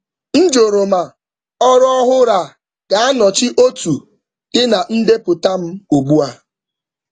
M jụrụ ma ọrụ ọhụrụ a ga-anọchi otu dị um na ndepụta m ugbu a.